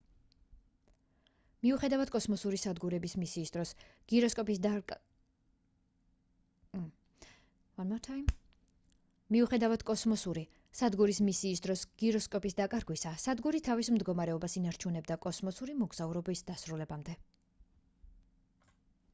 მიუხედავად კოსმოსური სადგურის მისიის დროს გიროსკოპის დაკარგვისა სადგური თავის მდგომარეობას ინარჩუნებდა კოსმოსური მოგზაურობის დასრულებამდე